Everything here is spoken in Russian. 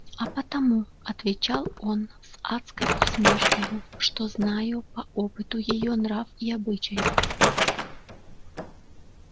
а потому отвечал он с адской усмешкою что знаю по опыту её нрав и обычай